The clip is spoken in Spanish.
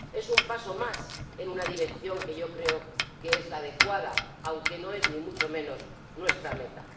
Es un paso más en una dirección que yo creo que es la adecuada, aunque no es ni mucho menos nuestra meta.